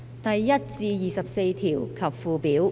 第1至24條及附表。